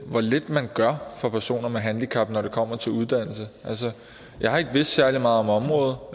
lidt man gør for personer med handicap når det kommer til uddannelse jeg har ikke vidst særlig meget om området